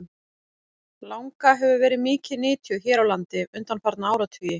Langa hefur verið mikið nytjuð hér á landi undanfarna áratugi.